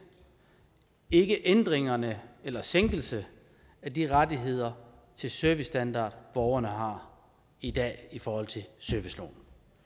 ikke ændringerne eller sænkelsen af de rettigheder til servicestandard borgerne har i dag i forhold til serviceloven